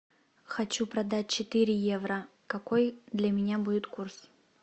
хочу продать четыре евро какой для меня будет курс